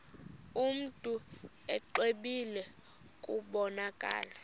mntu exwebile kubonakala